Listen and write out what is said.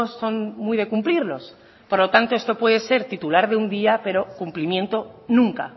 son muy de cumplirlos por lo tanto esto puede ser titular de un día pero cumplimiento nunca